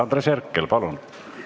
Andres Herkel, palun!